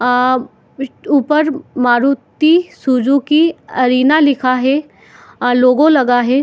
आ ऊपर Maruti Suzuki Arena लिखा हे और लोगो लगा हे ।